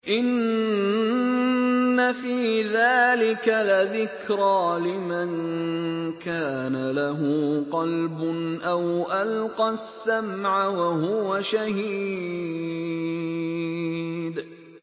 إِنَّ فِي ذَٰلِكَ لَذِكْرَىٰ لِمَن كَانَ لَهُ قَلْبٌ أَوْ أَلْقَى السَّمْعَ وَهُوَ شَهِيدٌ